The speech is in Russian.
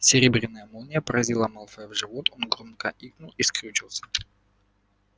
серебряная молния поразила малфоя в живот он громко икнул и скрючился